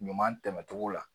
Ɲuman tɛmɛcogo la